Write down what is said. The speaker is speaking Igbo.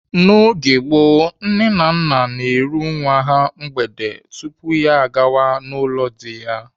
N'oge gboo, nne na nna na-eru nwa ha mgbede tupu ya agawa n'ụlọ dị ya.